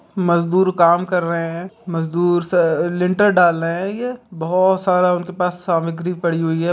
मजदूर काम कर रहे हैं मजदूर लिंटर्स डाल रहे है ये बहुत सारा उनके पास सामग्री पड़ी हुई है।